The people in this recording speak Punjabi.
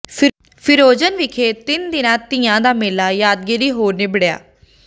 ਫਰਿਜ਼ਨੋ ਵਿਖੇ ਤਿੰਨ ਦਿਨਾ ਤੀਆਂ ਦਾ ਮੇਲਾ ਯਾਦਗਾਰੀ ਹੋ ਨਿੱਬੜਿਆ